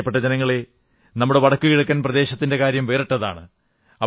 പ്രിയപ്പെട്ട ജനങ്ങളേ നമ്മുടെ വടക്കുകിഴക്കൻ പ്രദേശത്തിന്റെ കാര്യം വേറിട്ടതാണ്